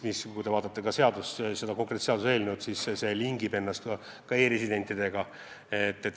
Kui te vaatate seaduseelnõu, siis näete, et see lingib ennast ka e-residentidega.